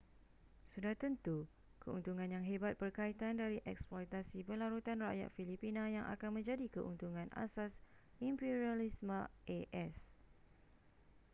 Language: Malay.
sudah tentu keuntungan yang hebat berkaitan dari eksploitasi berlarutan rakyat filipina yang akan menjadi keuntungan asas imperialisme a.s